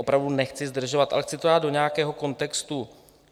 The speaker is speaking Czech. Opravdu nechci zdržovat, ale chci to dát do nějakého kontextu.